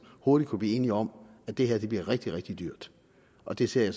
hurtigt kunne blive enige om at det her bliver rigtig rigtig dyrt og det ser jeg